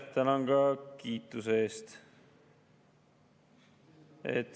Tänan kiituse eest.